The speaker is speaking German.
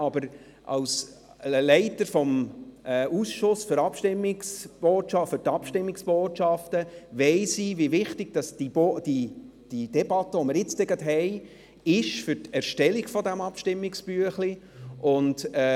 Doch als Leiter des Ausschusses Abstimmungserläuterungen weiss ich, wie wichtig die Debatte, die wir gleich führen werden, für die Erstellung dieses Abstimmungsbüchleins ist.